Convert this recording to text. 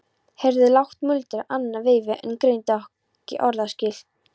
Heyrði lágt muldur annað veifið en greindi ekki orðaskil.